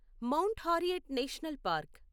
mount Harriet National park